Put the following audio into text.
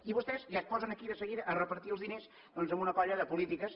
i vostès ja es posen aquí de seguida a repartir els diners en una colla de polítiques